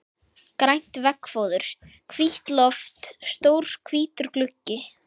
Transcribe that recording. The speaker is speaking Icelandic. Grænt veggfóður, hvítt loft, stór hvítur gluggi.